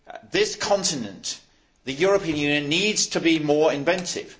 This continent the European Union needs to be more inventive.